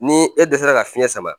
Ni e dɛsɛra ka fiɲɛ sama.